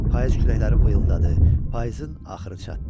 Payız küləkləri vıyıldadı, payızın axırı çatdı.